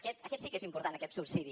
aquest sí que és important aquest subsidi